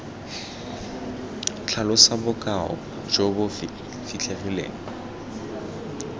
tlhalosa bokao jo bo fitlhegileng